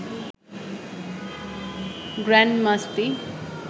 grand Masti